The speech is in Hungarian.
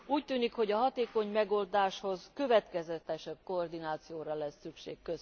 Úgy tűnik, hogy a hatékony megoldáshoz következetesebb koordinációra lesz szükség.